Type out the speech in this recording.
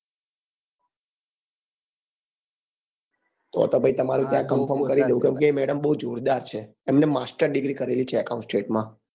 તો તો પછી તમારું કેમ કે એ madam બઉ જોરદાર છે એમને master degree કરેલી છે account state માં